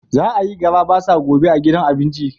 Za a yi garabasa gobe a gidan abinci.